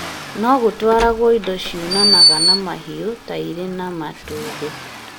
no gũtwaragwo indo ciunanaga na mahiũ ta iria na matumbĩ